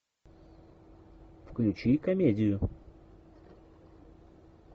включи комедию